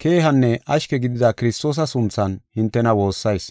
keehanne ashke gidida Kiristoosa sunthan hintena woossayis.